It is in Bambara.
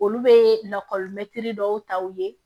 Olu bɛ lakɔlimɛtiri dɔw ta u ye